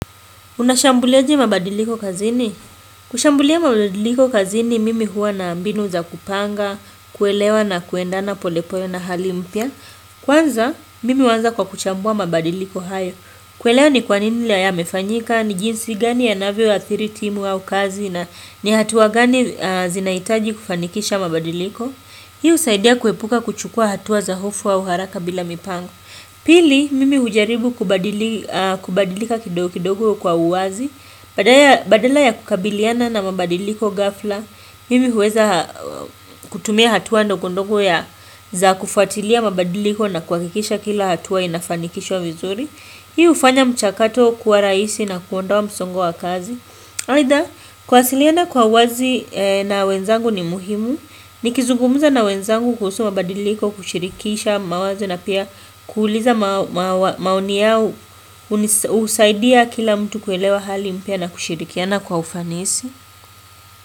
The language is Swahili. Unashambuliaje mabadiliko kazini? Kushambulia mabadiliko kazini mimi huwa na mbinu zakupanga, kuelewa na kuendana polepole na hali mpya. Kwanza mimi huanza kwa kuchambua mabadiliko hayo. Kuelewa ni kwanini yamefanyika, ni jinsi gani yanavyo athiri timu au kazi na nihatua gani zinahitaji kufanikisha mabadiliko. Hii husaidia kuepuka kuchukua hatuwa za hofu au haraka bila mipango. Pili, mimi hujaribu kubadilika kidogo kidogo kwa uwazi, badala ya kukabiliana na mabadiliko gafla, mimi huweza kutumia hatua ndogondogo ya za kufuatilia mabadiliko na kuhakikisha kila hatua inafanikishwa vizuri. Hii hufanya mchakato kuwa rahisi na kuondoa msongo wa kazi. Either kwasiliana kwa wazi na wenzangu ni muhimu, nikizungumuza na wenzangu kuhusu mabadiliko kushirikisha mawazo na pia kuuliza maoni yao husaidia kila mtu kuelewa hali mpya na kushirikiana kwa ufanisi.